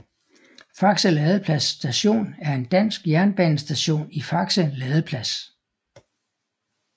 Faxe Ladeplads Station er en dansk jernbanestation i Faxe Ladeplads